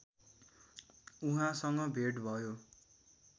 उहाँसँग भेट भयो